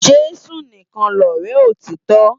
Jesu nikán lòrè òtitò